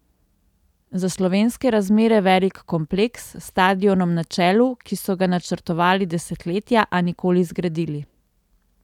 Za slovenske razmere velik kompleks, s stadionom na čelu, ki so ga načrtovali desetletja, a nikoli zgradili.